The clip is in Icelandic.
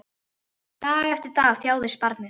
Dag eftir dag þjáðist barnið.